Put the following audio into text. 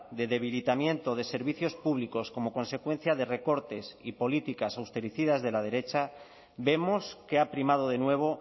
de debilitamiento de servicios públicos como consecuencia de recortes y políticas austericidas de la derecha vemos que ha primado de nuevo